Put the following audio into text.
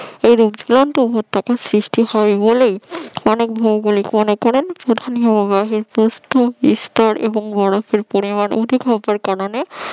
এইরূপ ঝুলন্ত উপত্যকা সৃষ্টি হয় বলেই অনেক ভৌগোলিক মনে করেন প্রধান হিমবাহের প্রস্থ স্তর এবং বরফের পরিমান অধিক হবার কারণে